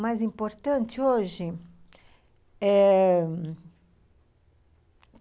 Mais importante hoje? Eh...